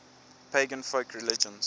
pagan folk religions